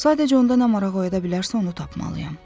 Sadəcə onda nə maraq oyada bilərsə, onu tapmalıyam.